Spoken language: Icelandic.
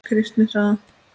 Kristni saga.